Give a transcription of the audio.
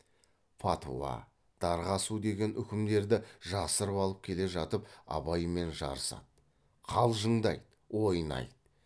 фатуа дарға асу деген үкімдерді жасырып алып келе жатып абаймен жарысады қалжыңдайды ойнайды